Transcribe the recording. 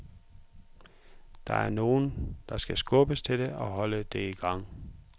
Der er nogen, der skal skubbe til det og holde det i gang.